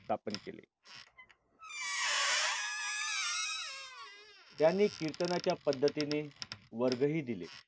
त्यांनी कीर्तनाच्या पद्धतीने वर्गही दिले.